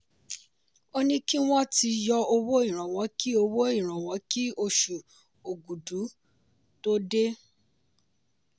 ó ní kí wọ́n ti yọ owó ìrànwọ́ kí owó ìrànwọ́ kí osù ògùdù tó dé.